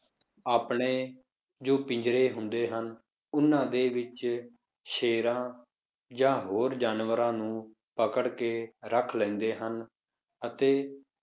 ਆਪਣੇ ਜੋ ਪਿੰਜ਼ਰੇ ਹੁੰਦੇ ਹਨ, ਉਹਨਾਂ ਦੇ ਵਿੱਚ ਸ਼ੇਰਾਂ ਜਾਂ ਹੋਰ ਜਾਨਵਰਾਂ ਨੂੰ ਪਕੜ ਕੇ ਰੱਖ ਲੈਂਦੇ ਹਨ ਅਤੇ